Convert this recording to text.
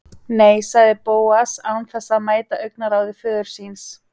Nei sagði Bóas án þess að mæta augnaráði föður síns.